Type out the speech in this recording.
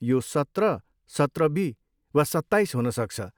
यो सत्र, सत्र बी वा सत्ताइस हुन सक्छ।